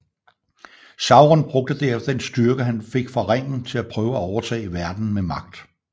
Sauron brugte derefter den styrke han fik fra ringen til at prøve at overtage verden med magt